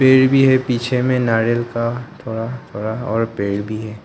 पेड़ भी है पीछे में नारियल का थोड़ा थोड़ा और पेड़ भी है।